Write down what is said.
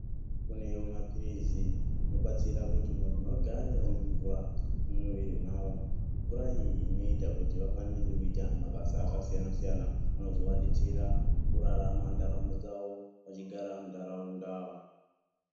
Kunewo mapirizi anobatsira kuti vanthu vagare vane mvura mumwiri mavo, mvura iyi inoita kuti vakwanise kuita mabasa akasiyana-siyana, anozovadetsera mukurarama ndaramo dzavo vachigara muntaraunda.